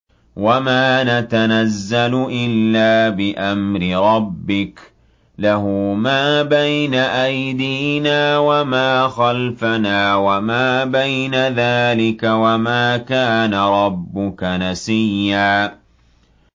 وَمَا نَتَنَزَّلُ إِلَّا بِأَمْرِ رَبِّكَ ۖ لَهُ مَا بَيْنَ أَيْدِينَا وَمَا خَلْفَنَا وَمَا بَيْنَ ذَٰلِكَ ۚ وَمَا كَانَ رَبُّكَ نَسِيًّا